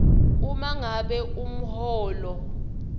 uma ngabe umholo